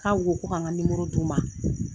K'aw ko ko ka n ka d'u ma